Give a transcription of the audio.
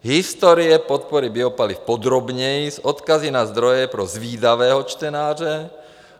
Historie podpory biopaliv podrobněji s odkazy na zdroje pro zvídavého čtenáře.